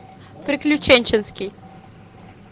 приключенческий